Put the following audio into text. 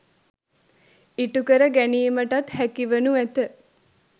ඉටුකර ගැනීමටත් හැකිවනු ඇත.